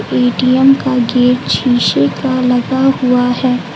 ATM का gate शीशे का लगा हुआ है।